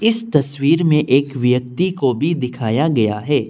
इस तस्वीर में एक व्यक्ति को भी दिखाया गया है।